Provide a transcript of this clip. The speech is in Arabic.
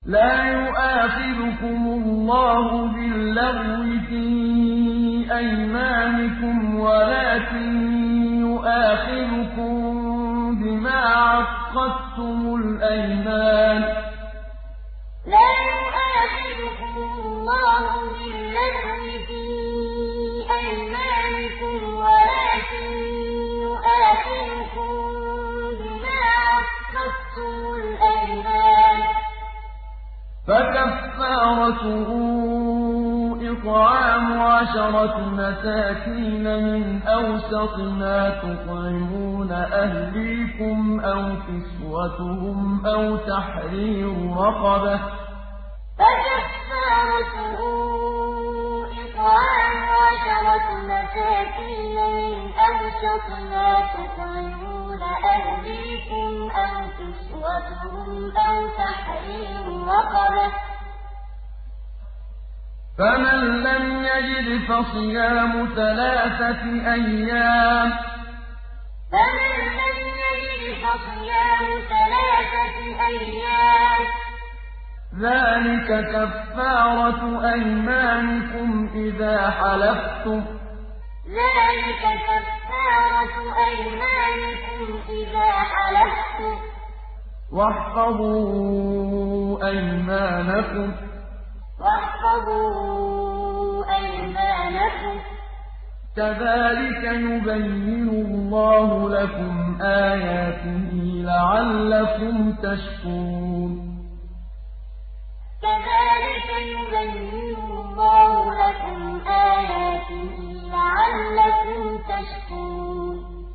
لَا يُؤَاخِذُكُمُ اللَّهُ بِاللَّغْوِ فِي أَيْمَانِكُمْ وَلَٰكِن يُؤَاخِذُكُم بِمَا عَقَّدتُّمُ الْأَيْمَانَ ۖ فَكَفَّارَتُهُ إِطْعَامُ عَشَرَةِ مَسَاكِينَ مِنْ أَوْسَطِ مَا تُطْعِمُونَ أَهْلِيكُمْ أَوْ كِسْوَتُهُمْ أَوْ تَحْرِيرُ رَقَبَةٍ ۖ فَمَن لَّمْ يَجِدْ فَصِيَامُ ثَلَاثَةِ أَيَّامٍ ۚ ذَٰلِكَ كَفَّارَةُ أَيْمَانِكُمْ إِذَا حَلَفْتُمْ ۚ وَاحْفَظُوا أَيْمَانَكُمْ ۚ كَذَٰلِكَ يُبَيِّنُ اللَّهُ لَكُمْ آيَاتِهِ لَعَلَّكُمْ تَشْكُرُونَ لَا يُؤَاخِذُكُمُ اللَّهُ بِاللَّغْوِ فِي أَيْمَانِكُمْ وَلَٰكِن يُؤَاخِذُكُم بِمَا عَقَّدتُّمُ الْأَيْمَانَ ۖ فَكَفَّارَتُهُ إِطْعَامُ عَشَرَةِ مَسَاكِينَ مِنْ أَوْسَطِ مَا تُطْعِمُونَ أَهْلِيكُمْ أَوْ كِسْوَتُهُمْ أَوْ تَحْرِيرُ رَقَبَةٍ ۖ فَمَن لَّمْ يَجِدْ فَصِيَامُ ثَلَاثَةِ أَيَّامٍ ۚ ذَٰلِكَ كَفَّارَةُ أَيْمَانِكُمْ إِذَا حَلَفْتُمْ ۚ وَاحْفَظُوا أَيْمَانَكُمْ ۚ كَذَٰلِكَ يُبَيِّنُ اللَّهُ لَكُمْ آيَاتِهِ لَعَلَّكُمْ تَشْكُرُونَ